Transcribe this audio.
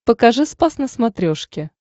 покажи спас на смотрешке